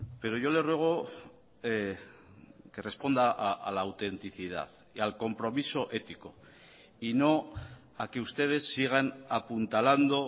pero yo le ruego que responda a la autenticidad y al compromiso ético y no a que ustedes sigan apuntalando